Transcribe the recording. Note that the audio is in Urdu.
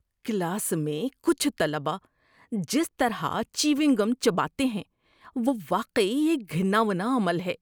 کلاس میں کچھ طلبہ جس طرح چیونگ گم چباتے ہیں وہ واقعی ایک گھناؤنا عمل ہے۔